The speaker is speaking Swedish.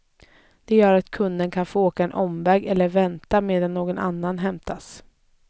Det gör att kunden kan få åka en omväg eller vänta medan någon annan hämtas.